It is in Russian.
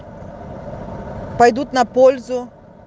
пойдут на пользу